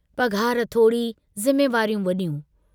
पघार थोड़ी ज़िम्मेवारियूं वड्यूं।